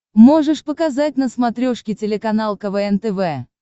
можешь показать на смотрешке телеканал квн тв